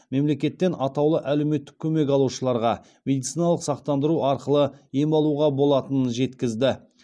мемлекеттен атаулы әлеуметтік көмек алушыларға медициналық сақтандыру арқылы ем алуға болатынын жеткізді